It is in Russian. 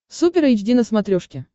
супер эйч ди на смотрешке